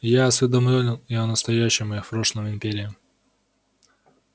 я осведомлён и о настоящем и о прошлом империи